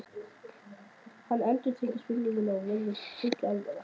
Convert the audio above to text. Hann endurtekur spurninguna og virðist full alvara.